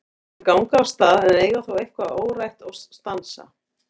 Þau ganga af stað en eiga þó eitthvað órætt og stansa.